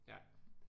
Ja